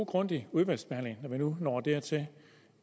grundig udvalgsbehandling når vi nu når dertil